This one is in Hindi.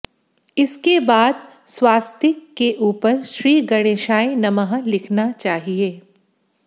इसके बाद स्वास्तिक के ऊपर श्री गणेशाय नमः लिखना चाहिए